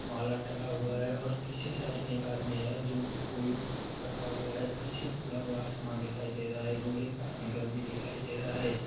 माला टंगा हुआ हैऔर पीछे साइड में एक आदमी है जो फूल रखा हुआ हैपीछे खुला हुआ आसमान दिखाई दे रहा है लोहे का एंगल भी दिखाई दे रहा है।